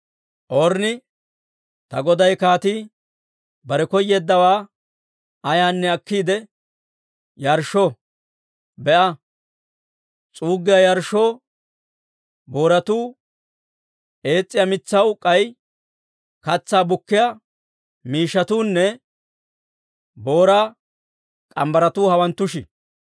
Ornni, «Ta goday kaatii bare koyeeddawaa ayaanne akkiide yarshsho! Be'a; s'uuggiyaa yarshshoo booratuu, eetsiyaa mitsaw k'ay katsaa bukkiyaa miishshatuunne booraa morgge mitsatuu hawanttushi.